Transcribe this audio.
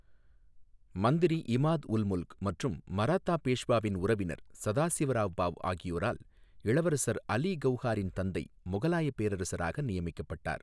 மந்திரி இமாத் உல் முல்க் மற்றும் மராத்தா பேஷ்வாவின் உறவினர் சதாசிவராவ் பாவ் ஆகியோரால் இளவரசர் அலி கவுஹாரின் தந்தை முகலாயப் பேரரசராக நியமிக்கப்பட்டார்.